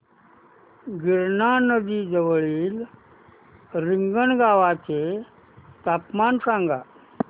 गिरणा नदी जवळील रिंगणगावाचे तापमान सांगा